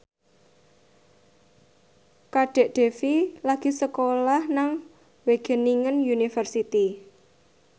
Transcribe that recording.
Kadek Devi lagi sekolah nang Wageningen University